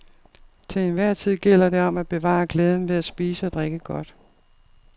Til enhver tid gælder det om at bevare glæden ved at spise og drikke godt.